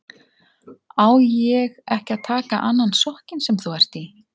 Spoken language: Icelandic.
Á ég ekki að taka annan sokkinn sem þú ert í?